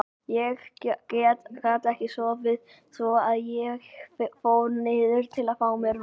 Ég gat ekki sofið svo að ég fór niður til að fá mér vatn.